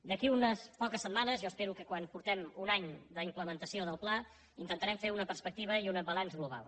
d’aquí a unes poques setmanes jo espero que quan faci un any de la implementació del pla intentarem fer una perspectiva i un balanç global